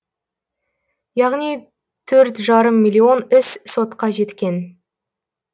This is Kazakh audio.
яғни төрт жарым миллион іс сотқа жеткен